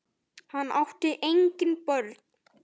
Hann átti engin börn.